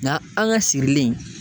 Nga an ka sirilen